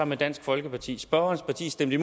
med dansk folkeparti spørgerens parti stemte